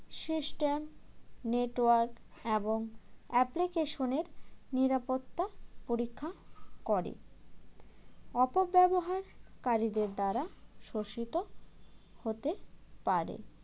system network এবং application এর নিরাপত্তা পরীক্ষা করে অপব্যবহার কারীদের দ্বারা শোষিত হতে পারে